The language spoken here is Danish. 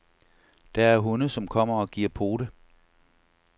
Der er hunde, som kommer og giver pote.